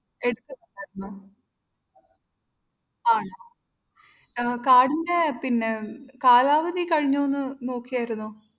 ആണോ ആഹ് കാർഡിൻ്റെ പിന്നെ കാലാവധി കഴിഞ്ഞുന്ന് നോക്കിയാരുന്നോ?